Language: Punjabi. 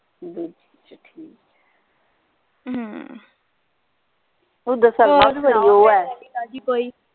ਦੂਜੀ ਚ